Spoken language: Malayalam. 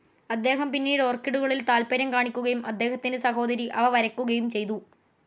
അദ്ദേഹം പിന്നീട് ഓർക്കിഡുകളിൽ താൽപ്പര്യം കാണിക്കുകയും അദ്ദേഹത്തിന്റെ സഹോദരി അവ വരയ്ക്കുകയും ചെയ്തു.